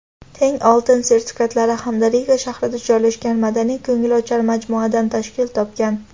teng oltin sertifikatlari hamda Riga shahrida joylashgan madaniy-ko‘ngilochar majmuadan tashkil topgan.